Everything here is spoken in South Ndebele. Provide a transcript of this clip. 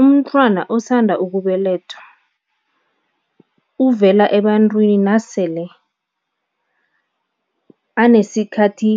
Umntwana osanda ukubelethwa uvela ebantwini nasele anesikhathi